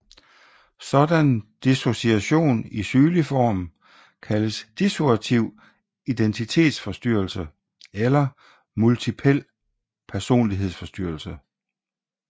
Sådan dissociation i sygelig form kaldes dissociativ identitetsforstyrrelse eller multipel personlighedsforstyrrelse